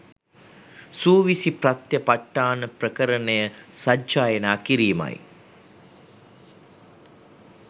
සූවිසි ප්‍රත්‍ය පට්ඨාන ප්‍රකරණය සජ්ජායනා කිරීමයි